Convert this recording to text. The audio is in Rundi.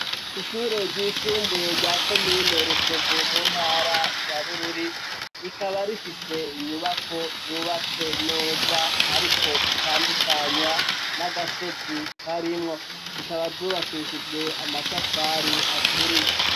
Ishure ryisumbuye rya ko mine rutovu mu ntara ya bururi rikaba rifise inyubako zubatse neza ariko zitandukanywa n'agasozi karimwo, zikaba zubakishijwe amatafari aturi.